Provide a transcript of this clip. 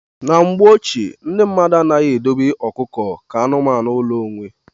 Na mgbe ochie, ndị mmadụ anaghị edobe ọkụkọ ka anụmanụ ụlọ onwe.